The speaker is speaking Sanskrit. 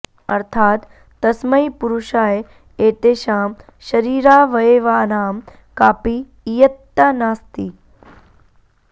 अर्थात् तस्मै पुरुषाय एतेषां शरीरावयवानां कापि इयत्ता नास्ति